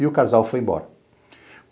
E o casal foi embora.